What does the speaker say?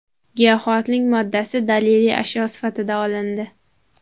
Giyohvandlik moddasi daliliy ashyo sifatida olindi.